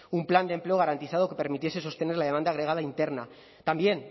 un plan de empleo garantizado que permitiese sostener las demanda agregada interna también